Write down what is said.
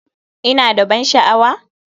Ina da ban sha'awa?